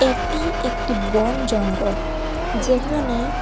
এটি একটি বন জঙ্গল যেখানে--